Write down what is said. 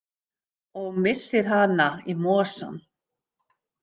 Og missir hana í mosann.